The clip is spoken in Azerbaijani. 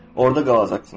orada qalacaqsınız.